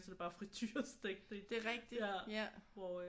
Så er det bare friturestegt det ja hvor øh